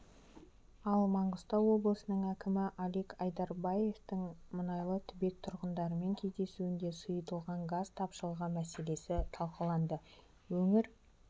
ал маңғыстау облысының әкімі алик айдарбаевтың мұнайлы түбек тұрғындарымен кездесуінде сұйытылған газ тапшылығы мәселесі талқыланды өңір